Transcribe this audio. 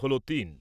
হল তিন।